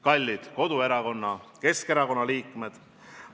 Kallid koduerakonna Keskerakonna liikmed!